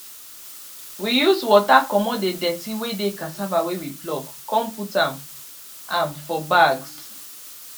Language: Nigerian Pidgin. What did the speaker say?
we use water comot the dirty wey dey cassava wey we pluck con put am am for bags